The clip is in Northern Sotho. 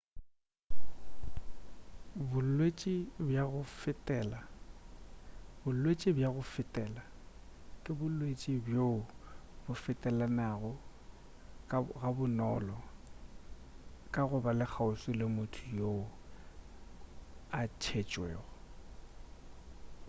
bolwetši bja go fetela ke bolwetši bjoo bo fetelanago ga bonolo ka go ba kgauswi le motho yoo a tšetšwego